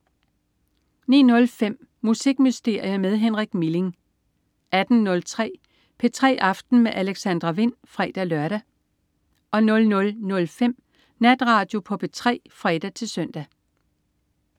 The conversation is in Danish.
09.05 Musikmysterier med Henrik Milling 18.03 P3 aften med Alexandra Wind (fre-lør) 00.05 Natradio på P3 (fre-søn)